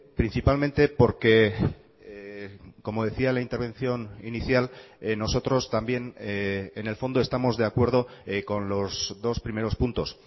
principalmente porque como decía la intervención inicial nosotros también en el fondo estamos de acuerdo con los dos primeros puntos